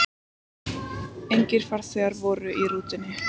Engir farþegar voru í rútunni.